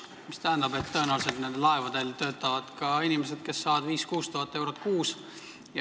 See tähendab, et tõenäoliselt töötavad nendel laevadel ka inimesed, kes saavad 5000–6000 eurot kuus.